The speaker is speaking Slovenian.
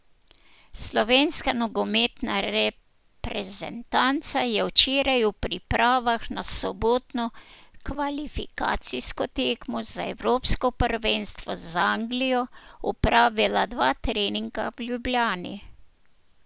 Slovenska nogometna reprezentanca je včeraj v pripravah na sobotno kvalifikacijsko tekmo za evropsko prvenstvo z Anglijo opravila dva treninga v Ljubljani.